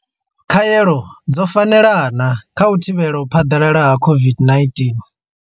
Khaelo dzo fanela na kha u thivhela u phaḓalala ha COVID-19.